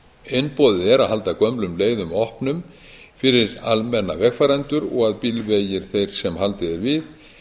einboðið er að halda gömlum leiðum opnum fyrir almenna vegfarendur og að bílvegir þeir sem haldið er við